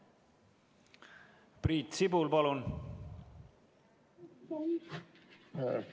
Priit Sibul, palun!